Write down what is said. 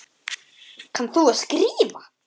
Kannt þú að skrifa?